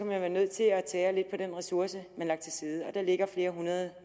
man være nødt til at tære lidt på den ressource man har lagt til side og der ligger flere hundrede